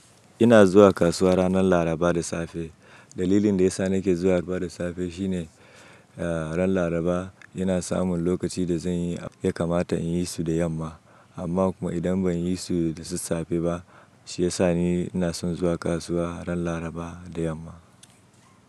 Ina zuwa kasuwa ranar Laraba da safe. Dalilin da ya sa nake zuwa Laraba da safe shine, eh, ranar Laraba ina samun lokaci da ya kamata in yi su da yamma. Amma idan ban yi su da safe ba, shi ya sa ni ina son zuwa kasuwa ranar Laraba da yamma.